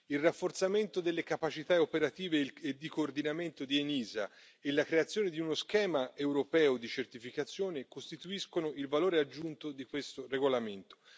Il rafforzamento delle capacità operative e di coordinamento di ENISA e la creazione di uno schema europeo di certificazione costituiscono il valore aggiunto di questo regolamento.